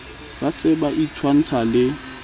ba se ba itshwantsha le